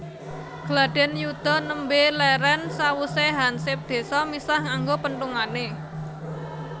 Gladhen yuda nembe leren sawuse hansip désa misah nganggo penthungane